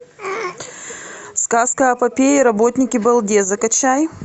сказка о попе и работнике балде закачай